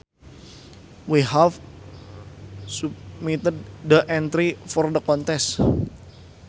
We have submitted the entry for the contest